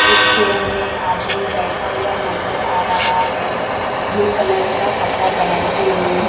एक चेयर में आदमी बैठा हुआ नजर आ रहा है ब्लू कलर का कपड़ा पहन के हुए--